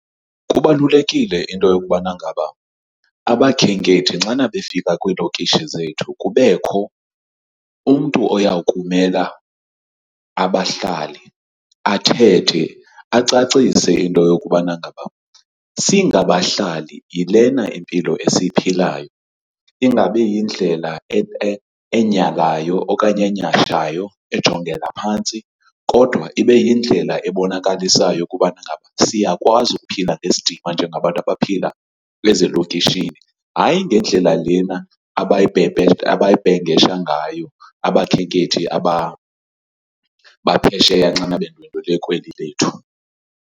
Kubalulekile into yokubana ngaba abakhenkethi nxana befika kwiilokishi zethu kubekho umntu oya kumela abahlali, athethe acacise into yokubana ngaba singabahlali yilena impilo esiyiphilayo. Ingabi yindlela enyhalayo okanye enyhashayo, ejongela phantsi, kodwa ibe yindlela ebonakalisayo ukubana ngaba siyakwazi ukuphila ngesidima njengabantu abaphila ezilokishini. Hayi, ngendlela lena abayibhengesha ngayo abakhenkethi aba baphesheya xana bendwendwele kweli lethu.